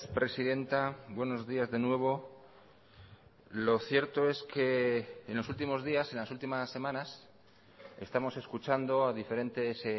presidenta buenos días de nuevo lo cierto es que en los últimos días en las últimas semanas estamos escuchando a diferentes